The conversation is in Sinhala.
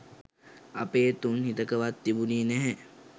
අපේ තුන් හිතකවත් තිබුණේ නැහැ